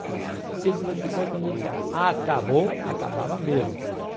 Cinco minutos depois, quando eu disser, acabou, acabava mesmo.